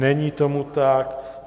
Není tomu tak.